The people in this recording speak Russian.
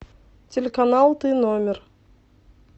телеканал ты номер